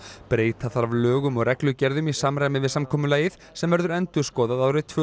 breyta þarf lögum og reglugerðum í samræmi við samkomulagið sem verður endurskoðað árið tvö